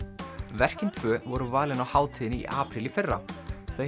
verkin tvö voru valin á hátíðinni í apríl í fyrra þau